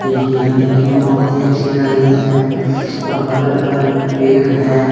हिरण देखने में बहुत ही अच्छी लग रही है और बगल-बगल में पेड़ है।